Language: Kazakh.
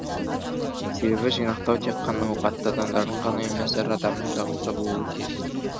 себебі жинақтау тек қана ауқатты адамдардың ғана емес әр адамның дағдысы болуы тиіс